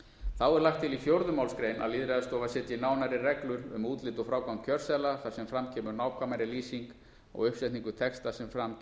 þá er lagt til í fjórðu málsgrein að lýðræðisstofa setji nánari reglur um útlit og frágang kjörseðla þar sem fram kemur nákvæmari lýsing á uppsetningu texta sem fram